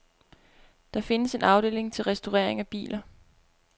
Der findes en afdeling til restaurering af biler.